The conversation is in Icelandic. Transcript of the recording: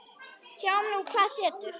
Sjáum nú hvað setur.